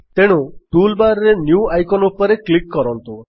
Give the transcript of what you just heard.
ତେଣୁ ଟୁଲବାର୍ ରେ new icon ଉପରେ କ୍ଲିକ୍ କରନ୍ତୁ